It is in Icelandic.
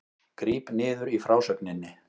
Gríp niður í frásögninni